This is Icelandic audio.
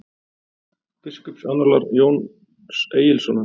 „biskupaannálar jóns egilssonar